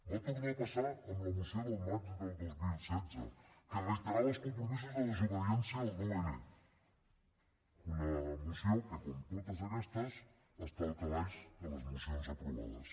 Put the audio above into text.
va tornar a passar amb la moció del maig del dos mil setze que reiterava els compromisos de desobediència del nou n una moció que com totes aquestes està al calaix de les mocions aprovades